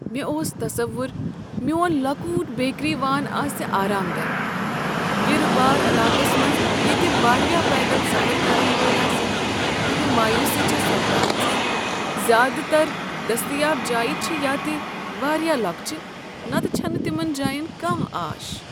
مےٚ اوس تصوُر میون لۄکٹ بیکری وان آسہ آرام دہ، بِرٕ بار علاقس منٛز ییٚتہ واریاہ پیدل سفر کرن وٲلۍ آسن، مگر مایوٗسی چھےٚ سپدان ز زیادٕ تر دستیاب جایہ چھ یا تہ واریاہ لۄکچہ نتہ چھنہ تمن جاین کانہہ آش۔